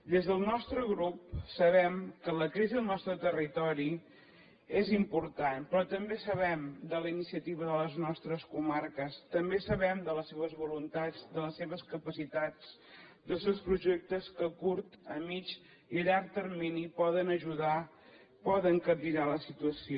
des del nostre grup sabem que la crisi al nostre territori és important però també sabem de la iniciativa de les nostres comarques també sabem de les seves voluntats de les seves capacitats dels seus projectes que a curt a mitjà i a llarg termini poden ajudar poden capgirar la situació